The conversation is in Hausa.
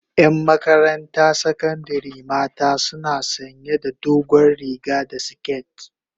yan Makaranta sakandari mata suna sanya da dogon riga da siket